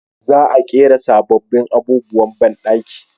Za a ƙera sabobbin abubuwan banɗaki